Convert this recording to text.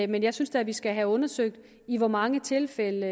men jeg synes da at vi skal have undersøgt i hvor mange tilfælde